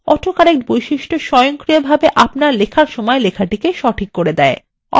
autocorrect বৈশিষ্ট্য স্বয়ংক্রিয়ভাবে আপনার লেখার সময় লেখাটিকে সঠিক করে